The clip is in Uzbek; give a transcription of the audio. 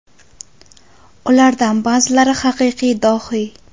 Ulardan ba’zilari haqiqiy dohiy.